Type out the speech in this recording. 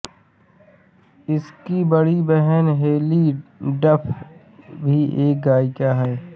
उसक़ी बडी बहन Haylie Duff भी एक गायिका है